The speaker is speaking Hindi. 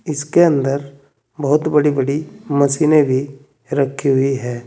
इसके अंदर बहुत बड़ी बड़ी मशीनें भी रखी हुई है।